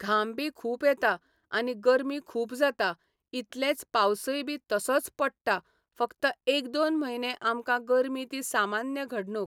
घाम बी खूब येता आनी गरमी खूब जाता इतलेंच पावसय बी तसोच पडटा फकत एक दोन म्हयने आमकां गरमी ती सामान्य घडणूक